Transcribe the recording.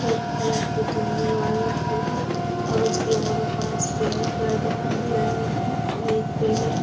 Red colour की चुन्नी और लटकी है और उसके और पास पेड़ पेड़ दिखाई दे रहे हैं और एक पीले है।